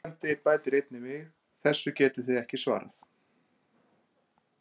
Spyrjandi bætir einnig við: Þessu getið þið ekki svarað!